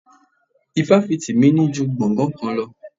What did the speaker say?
Ifáfìti mi ní ju gbongan kan lọ.